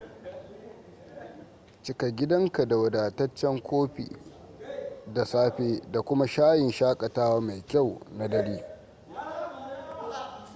cika gidanka da wadataccen kofi da safe da kuma shayin shakatawa mai kyau na dare